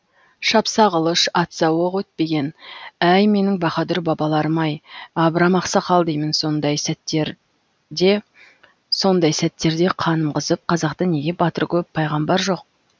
шапса қылыш атса оқ өтпеген әй менің баһадүр бабаларым ай абрам ақсақал деймін сондай сәттерде қаным қызып қазақта неге батыр көп пайғамбар жоқ